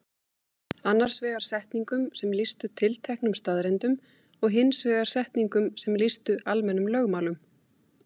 Annars vegar setningum sem lýstu tilteknum staðreyndum og hins vegar setningum sem lýstu almennum lögmálum.